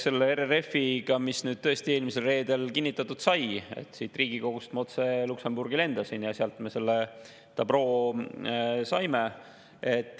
See RRF nüüd tõesti eelmisel reedel kinnitatud sai, siit Riigikogust ma otse Luksemburgi lendasin ja sealt me selle dabroo saime.